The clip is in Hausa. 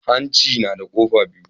Hanci nada kofa biyu